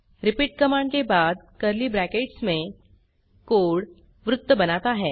repeat command के बाद curly brackets में कोड वृत्त बनाता है